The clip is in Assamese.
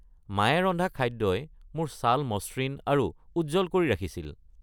মায়ে ৰন্ধা খাদ্যই মোৰ ছাল মসৃণ আৰু উজ্জ্বল কৰি ৰাখিছিল।